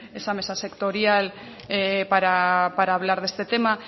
esa mesa sectorial para hablar de este tema